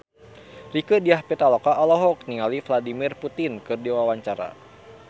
Rieke Diah Pitaloka olohok ningali Vladimir Putin keur diwawancara